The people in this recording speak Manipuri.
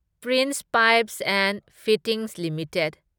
prince Pipes and Fittings limited